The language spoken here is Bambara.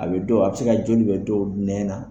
A bɛ don a bɛ se ka joli bila dɔw nɛn na